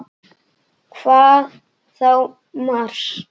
Hvað þá Mars!